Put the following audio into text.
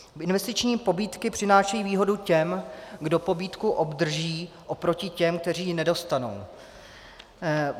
Investiční pobídky přinášejí výhodu těm, kdo pobídku obdrží, oproti těm, kteří ji nedostanou.